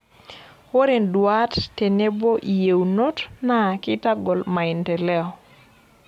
Ore nduat tenebo yeunot naa keitagol maendeleo.